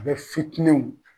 U bɛ fitinɛ wuli